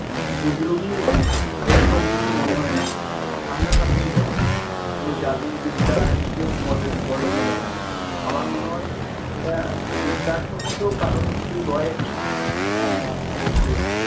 এরকম কিছু মনে হয় না সামনাসামনি ঘটছে কোন যাদুবিদ্যা এইসব বলে বলে মনে হয় না। আমার মনে হয় এটা বিজ্ঞানসম্মত কারণ কিছু রয়েছে আহ অবশ্যই